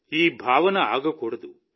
ఈ భావన ఆగకూడదు